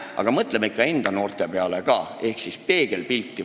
Aga mõtleme vahel ikka enda noorte peale ka ehk vaatame peegelpilti.